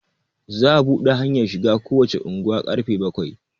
za a buɗe hanyar shiga kowace unguwa karfe bakwai